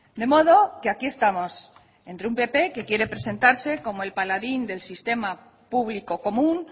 de modo que aquí estamos entre un pp que quiere presentarse como el paladín del sistema público común